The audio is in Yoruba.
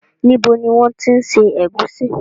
Níbo ni wọn ti ń ṣe ẹ̀gúsí